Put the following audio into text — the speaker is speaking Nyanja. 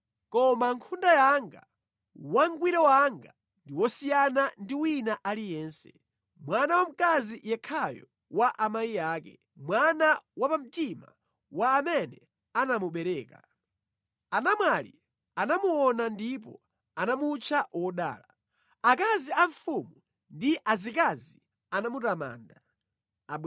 koma nkhunda yanga, wangwiro wanga ndi wosiyana ndi wina aliyense; mwana wamkazi yekhayo wa amayi ake, mwana wapamtima wa amene anamubereka. Anamwali anamuona ndipo anamutcha wodala; akazi a mfumu ndi azikazi anamutamanda.